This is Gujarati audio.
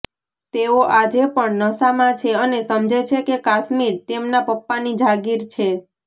તેઓ આજે પણ નશામાં છે અને સમજે છે કે કાશ્મીર તેમના પપ્પાની જાગીર છે